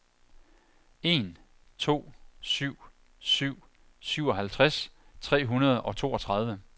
en to syv syv syvoghalvtreds tre hundrede og toogtredive